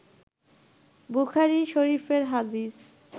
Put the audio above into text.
বুখারী শরিফের হাদিস